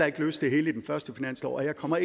ikke løse det hele i den første finanslov og jeg kommer